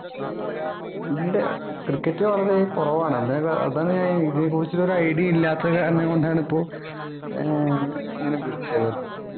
ഇല്ല cricket കാണുന്നത് തന്നെ കുറവാണ് അന്നേര അതാണ് ഞാൻ ഇതേ കുറിച്ച് ഒരു idea ഉം ഇല്ലാത്ത കാരണം കൊണ്ട് ആണ് ഇപ്പൊ ആഹ് ഇങ്ങനെ വിളിച്ചത് ഇപ്പൊ